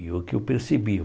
E o que eu percebi?